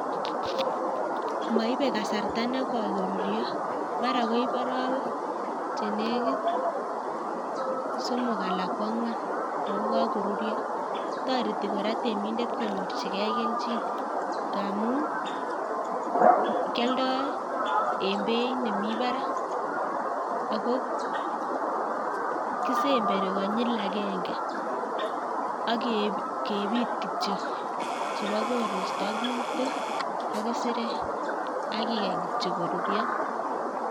Maibe kasarta nekoi koruryo. mara koib arawek chenekit somok alak kwang'wan kokakoruryo. toreti kora temindet konyorchigei kelchin ngaamun kialdai ing' beeit nemi barak ako kisemberi konyil agenge, akebit kityo chebo koristo ak kutik ak kisirek akikany kityo koruryo